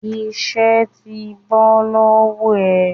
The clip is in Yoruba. Isẹ́ ti bọ́ lọ́wọ́ ẹ